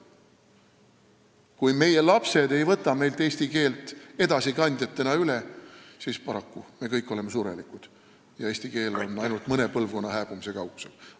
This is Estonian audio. Kui meie lapsed ei võta meilt eesti keelt selle edasikandjatena üle, siis paraku: me kõik oleme surelikud ja eesti keele hääbumine on ainult mõne põlvkonna kaugusel.